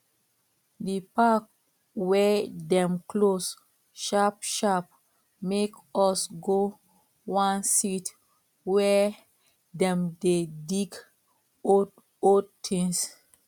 di park wey dem close sharp sharp make us go one sit wey dem dey dig old old things